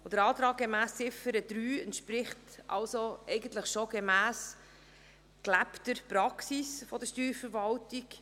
Der Antrag gemäss Ziffer 3 entspricht somit bereits der gelebten Praxis der Steuerverwaltung.